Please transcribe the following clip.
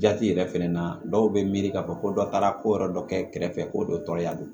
Jati yɛrɛ fɛnɛ na dɔw be miiri k'a fɔ ko dɔ taara ko yɔrɔ dɔ kɛ kɛrɛfɛ ko dɔ tɔɔrɔya don